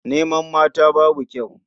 Neman mata babu kyau.